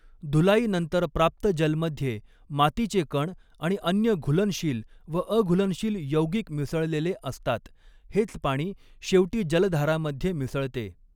धुलाई नंतर प्राप्त जल मध्ये मातीचे कण आणि अन्य घुलनशील व अघूलनशील यौगिक मिसळलेले असतात हेच पाणी शेवटी जलधारा मध्ये मिसळते.